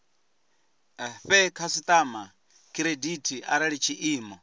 fhe khasitama khiredithi arali tshiimo